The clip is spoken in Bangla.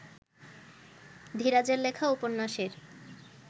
ধীরাজের লেখা উপন্যাসের